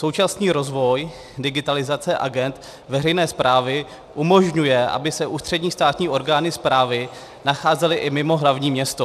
Současný rozvoj digitalizace agend veřejné správě umožňuje, aby se ústřední státní orgány správy nacházely i mimo hlavní město.